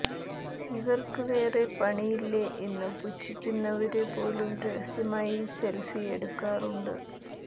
ഇവര്ക്കു വേറെ പണിയില്ലേ എന്നു പുച്ഛിക്കുന്നവര് പോലും രഹസ്യമായി സെല്ഫി എടുക്കാറുണ്ട്